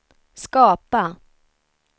skapa